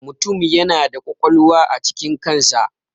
Mutum yana da ƙwaƙwalwa a cikin kan sa.